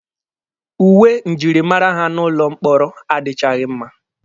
Uwe njirimara ha n'ụlọ mkpọrọ adịchaghị mma.